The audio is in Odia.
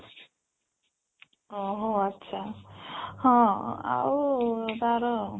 ଓ ହୋ ଆଚ୍ଛା ହଁ ଆଉ ତାର